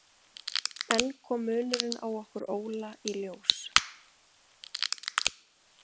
Enn kom munurinn á okkur Óla í ljós.